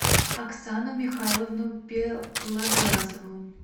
оксану михайловну белоглазову